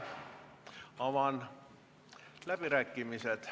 Avan läbirääkimised.